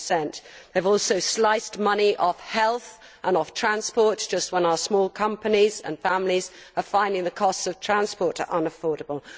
10. They have also sliced money of health and transport just when our small companies and families are finding the cost of transport unaffordable.